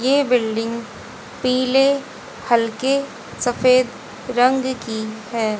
ये बिल्डिंग पीले हल्के सफेद रंग की है।